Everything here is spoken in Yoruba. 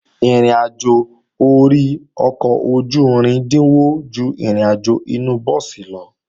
Ìrìnàjò ori ọkọ̀ ojú-irin dínwó ju ìrìnàjò inu búùsì lọ